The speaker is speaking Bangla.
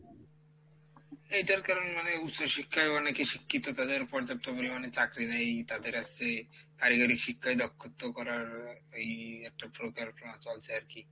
এইটার কারণ মানে উচ্চশিক্ষায় অনেকে শিক্ষিত তাদের পর্যাপ্ত পরিমাণে চাকরি নেই তাদের আসে কারিগরি শিক্ষায় দক্ষত্ব করার এই একটা পরিকল্পনা চলছে আরকি,